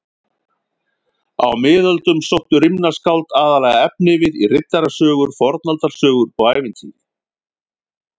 Á miðöldum sóttu rímnaskáld aðallega efnivið í riddarasögur, fornaldarsögur og ævintýri.